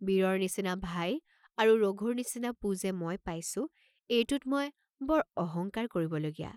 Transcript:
বীৰৰ নিচিনা ভাই আৰু ৰঘুৰ নিচিনা পো যে মই পাইছোঁ এইটোত মই বৰ অহংকাৰ কৰিব লগীয়া।